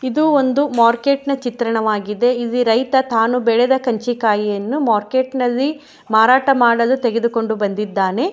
ಇದು ಒಂದು ಮೊರ್ಕೆಟ್ ನ ಚಿತ್ರವಾಗಿದೆ ಇಲ್ಲಿ ರೈತ ತಾನು ಬೆಳೆದ ಕರ್ಜಿಕಾಯಿಯನ್ನು ಮೊರ್ಕೆಟ್ ನಲ್ಲಿ ಮಾರಾಟ ಮಾಡಲು ತೆಗೆದುಕೊಂಡು ಬಂದಿದ್ದಾನೆ.